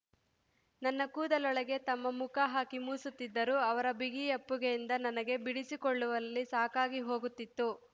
ನನ್ನ ಕೂದಲೊಳಗೆ ತಮ್ಮ ಮುಖ ಹಾಕಿ ಮೂಸುತ್ತಿದ್ದರು ಅವರ ಬಿಗಿಯಪ್ಪುಗೆಯಿಂದ ನನಗೆ ಬಿಡಿಸಿಕೊಳ್ಳುವಲ್ಲಿ ಸಾಕಾಗಿ ಹೋಗುತ್ತಿತ್ತು